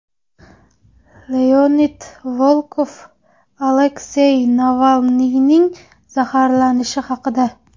Leonid Volkov Aleksay Navalniyning zaharlanishi haqida.